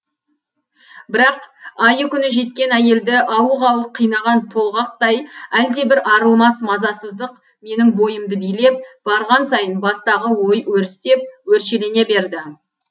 бірақ айы күні жеткен әйелді ауық ауық қинаған толғақтай әлдебір арылмас мазасыздық менің бойымды билеп барған сайын бастағы ой өрістеп өршелене берді